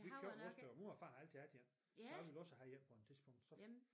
Vi købte vores der og vores far har altid haft en så han ville også han en på et tidspunkt så